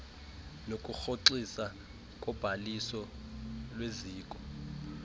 nokurhoxiswa kobhaliso lweziko